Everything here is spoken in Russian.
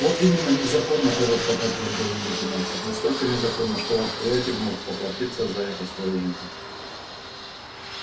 вот именно незаконна коротко подтвердил великий мастер настолько незаконна что ваш приятель может поплатиться за это своей жизнью